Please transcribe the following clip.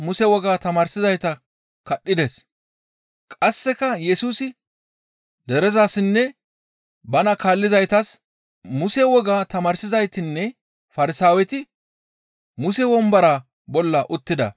«Muse wogaa tamaarsizaytinne Farsaaweti Muse wombora bolla uttida. Farsaawey ba hu7e bolla ashenkitaabe qachchidi Xoos woossishe may7iza may7ora